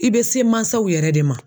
I bɛ se mansaw yɛrɛ de ma